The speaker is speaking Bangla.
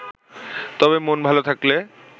তবে মন ভালো থাকলে